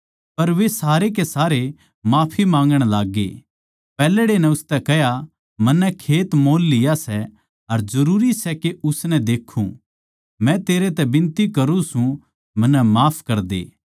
पर वे सारे के सारे माफी माँगण लाग्गे पैहल्ड़े नै उसतै कह्या मन्नै खेत मोल लिया सै अर जरूरी सै के उसनै देक्खूँ मै तेरै तै बिनती करूँ सूं मन्नै माफ करदे